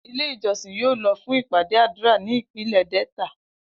Ile ijọsin yoo lọ fun ipade adura ni ipinlẹ Delta.